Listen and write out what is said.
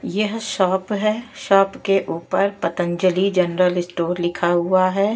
यह शॉप है शॉप के ऊपर पतंजलि जनरल स्टोर लिखा हुआ है।